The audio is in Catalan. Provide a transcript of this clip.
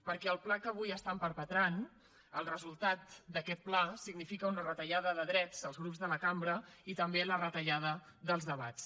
perquè el pla que avui estan perpetrant el resultat d’aquest pla significa una retallada de drets als grups de la cambra i també la retallada dels debats